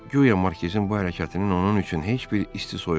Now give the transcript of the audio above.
Guya markizin bu hərəkətinin onun üçün heç bir isti-soyuğu yoxdur.